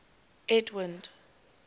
edwind